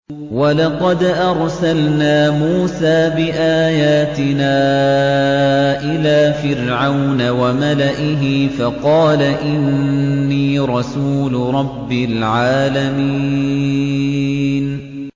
وَلَقَدْ أَرْسَلْنَا مُوسَىٰ بِآيَاتِنَا إِلَىٰ فِرْعَوْنَ وَمَلَئِهِ فَقَالَ إِنِّي رَسُولُ رَبِّ الْعَالَمِينَ